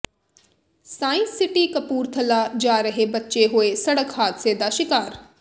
science city Kapurthala ਜਾ ਰਹੇ ਬੱਚੇ ਹੋਏ ਸੜਕ ਹਾਦਸੇ ਦਾ ਸ਼ਿਕਾਰ